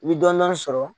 I bi dɔnni sɔrɔ